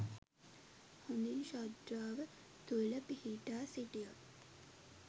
හොඳින් ශ්‍රද්ධාව තුළ පිහිටා සිටියොත්